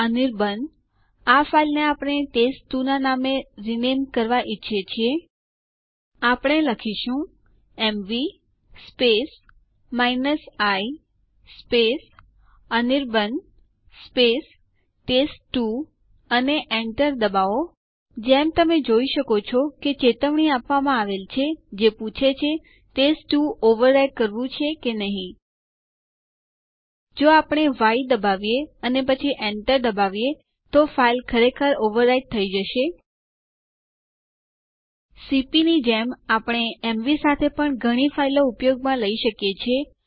અહીં command prompt ઉપર type કરો sudo space usermod space e space 2012 12 27 space duck અને Enter ડબાઓ યુઝર અકાઉન્ટ ની સમાપ્તિ તારીખ અહીં આદેશમાં દર્શાવ્યા પ્રમાણે e વિકલ્પની મદદથી સુયોજિત થયેલ છે